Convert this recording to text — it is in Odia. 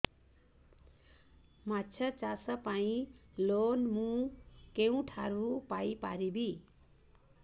ମାଛ ଚାଷ ପାଇଁ ଲୋନ୍ ମୁଁ କେଉଁଠାରୁ ପାଇପାରିବି